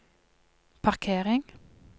parkering